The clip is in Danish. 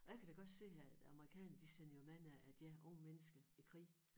Og jeg kan da godt se at æ amerikanere de sender jo mange af deres unge mennesker i krig